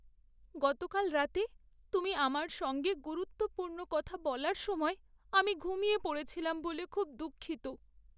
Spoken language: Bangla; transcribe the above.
গতকাল রাতে তুমি আমার সঙ্গে গুরুত্বপূর্ণ কথা বলার সময় আমি ঘুমিয়ে পড়েছিলাম বলে খুব দুঃখিত।